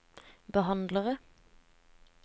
behandlere